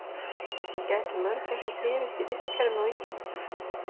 En gætu mörgæsir þrifist í vistkerfinu á Íslandi?